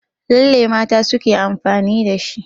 Lalle mata suke amfani da shi.